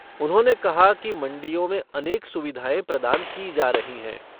उन्होंने कहा कि मंडियों में अनेक सुविधाएं प्रदान की जा रही हैं।